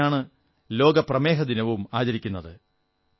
അന്നുതന്നെയാണ് ലോക പ്രമേഹദിനവും ആചരിക്കുന്നത്